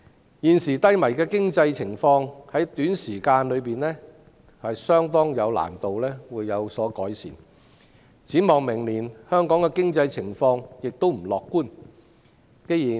香港現時低迷的經濟情況，在短時期固然難有改善，展望明年，經濟情況亦不樂觀。